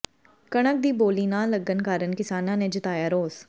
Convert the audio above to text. ਕਣਕ ਦੀ ਬੋਲੀ ਨਾ ਲੱਗਣ ਕਾਰਨ ਕਿਸਾਨਾਂ ਨੇ ਜਤਾਇਆ ਰੋਸ